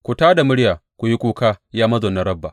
Ku tā da murya ku yi kuka, ya mazaunan Rabba!